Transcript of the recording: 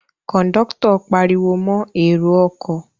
Kòńdọ́tọ̀ pariwo mọ èrò ọkọ̀